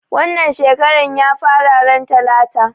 Wannan shekaran ya fara ran talata